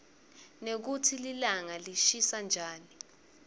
nekutsi lilanga lishisa njani